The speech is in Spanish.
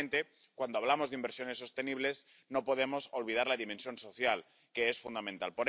Y finalmente, cuando hablamos de inversiones sostenibles, no podemos olvidar la dimensión social, que es fundamental.